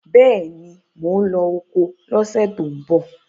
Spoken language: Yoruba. Bẹ́ẹ̀ ni, mò ń lọ oko lọ́sẹ̀ tó ń bọ̀